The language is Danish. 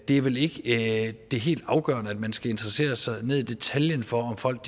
er vel ikke det helt afgørende at man skal interessere sig helt ned i detaljen for om folk